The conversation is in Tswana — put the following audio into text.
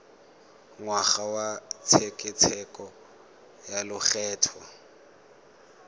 ngwaga wa tshekatsheko ya lokgetho